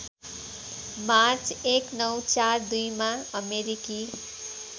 March १९४२ मा अमेरिकी